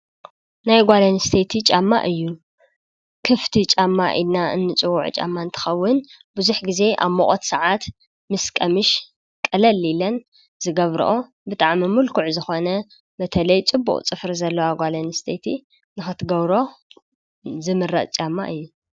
ናይ ጓል ኣንስተይቲ ጫማ እዩ:: ክፍቲ ጫማ ኢልና እንፅዉዖ ጫማ እንትከዉን ብዙሕ ግዘ ኣብ ሙቆት ሰዓት ምስ ቀምሽ ቅልል ኢለን ዝገብርኦ ብጣዕሚ ምልኩዕ ዝኮነ በተለይ ፅቡቅ ፅፍሪ ዘለዋ ጓል ኣንስተይቲ ንክትገብሮ ዝምረፅ ጫማ እዩ።